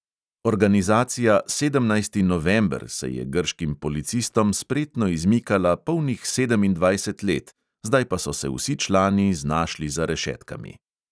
Organizacija sedemnajsti november se je grškim policistom spretno izmikala polnih sedemindvajset let, zdaj pa so se vsi člani znašli za rešetkami.